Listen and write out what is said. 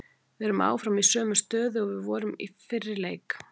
Við erum áfram í sömu stöðu og við vorum í fyrir þennan leik.